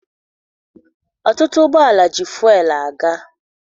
Ọtụtụ ụgbọala ji fụel aga.